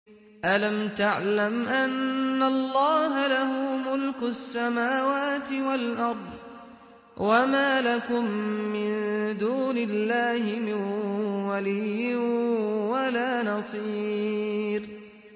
أَلَمْ تَعْلَمْ أَنَّ اللَّهَ لَهُ مُلْكُ السَّمَاوَاتِ وَالْأَرْضِ ۗ وَمَا لَكُم مِّن دُونِ اللَّهِ مِن وَلِيٍّ وَلَا نَصِيرٍ